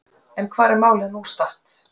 En hvar er málið statt nú?